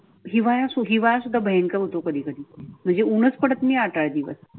हिवाळ्या हिवाळा शुद्धा भयंकर होतो कधी कधी म्हणजे उन्ह्च पडत नाही आता दिवस.